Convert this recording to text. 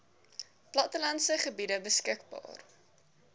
plattelandse gebiede beskikbaar